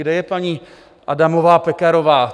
Kde je paní Adamová Pekarová?